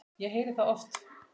Ég heyrði það oft.